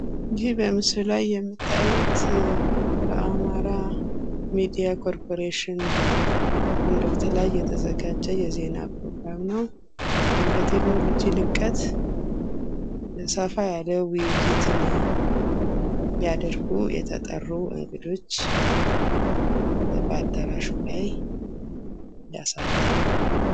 ይህ በምስሉ ላይ የምታዩት በአማራ ሚዲያ ኮርፖሬሽን በአንድ ወቅት ላይ የተዘጋጀ የዜና ፕሮግራም ነው ። በቴክኖሎጂ ልቀት ሰፋ ያለ ውይይትን ሊያደርጉ የተጠሩ እንግዶች በአዳራሹ ላይ ያሳያል።